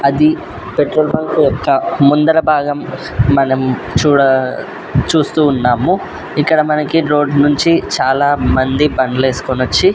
అది petrol bunk యొక్క ముందర భాగం మనం చూడా చూస్తూ ఉన్నాము ఇక్కడ మనకి రోడ్డు నుంచి చాలా మంది బండ్లు యేసుకుని వచ్చి--